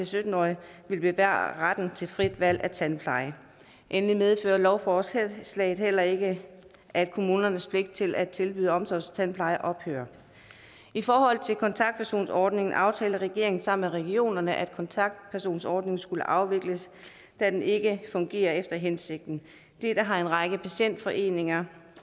sytten årige vil bevare retten til frit valg af tandpleje endelig medfører lovforslaget heller ikke at kommunernes pligt til at tilbyde omsorgstandpleje ophører i forhold til kontaktpersonordningen aftalte regeringen sammen med regionerne at kontaktpersonordningen skulle afvikles da den ikke fungerer efter hensigten dette har en række patientforeninger